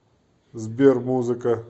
сбер музыка